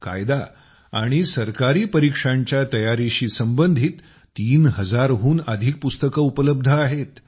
कायदा आणि सरकारी परीक्षांच्या तयारीशी संबंधित तीन हजारहून अधिक पुस्तकं उपलब्ध आहेत